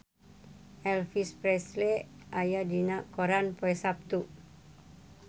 Elvis Presley aya dina koran poe Saptu